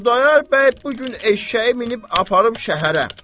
Xudayar bəy bu gün eşşəyi minib aparıb şəhərə.